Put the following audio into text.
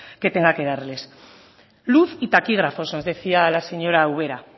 que tenga que darles luz y taquígrafos nos decía la señora ubera